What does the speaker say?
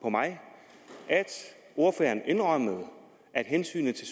ordføreren faktisk indrømmede at hensynet til